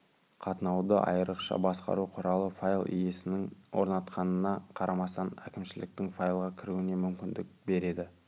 қатынауды айрықша басқару құралы файл иесінің орнатқанына қарамастан әкімшіліктің файлға кіруіне мүмкіндік береді